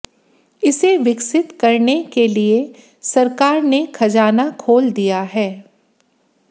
इसे विकसित करने के लिए सरकार ने खजाना खोल दिया है